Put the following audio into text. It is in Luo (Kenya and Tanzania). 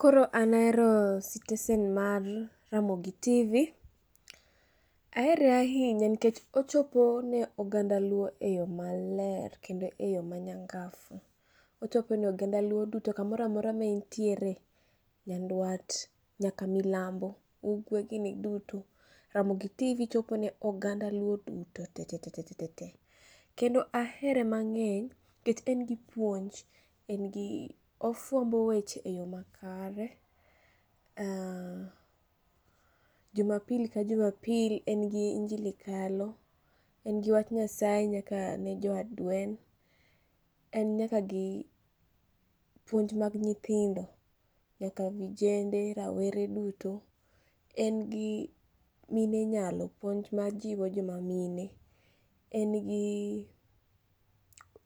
Koro an ahero stesen mar Ramogi tv. Ahere ahinya nikech ochopo ne oganda luo e yo maler kendo e yo manyangaf. Ochopone oganda luo duto kamora mora maintiere, nyandwat nyaka milambo, ugwe gini duto, ramogi tv jopone oganda luo duto tetete. Kendo ahere mang'eny nikech en gi puonj, en gi ofuambo weche e yo makare. Jumapil kajumapil en gi injili kalo, en gi wach nyasaye nyakane joadwen, en nyakagi puonj mag nyithindo, nyaka vijende, rawere duto. En gi mine nyalo, puonj majiwo joma mine. En gi